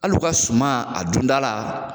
Hali u ka suma a dundala